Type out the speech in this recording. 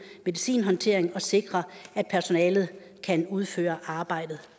medicinhåndtering og sikre at personalet kan udføre arbejdet